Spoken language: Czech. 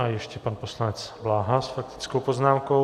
A ještě pan poslanec Bláha s faktickou poznámkou.